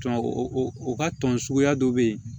O ka tɔn suguya dɔ bɛ yen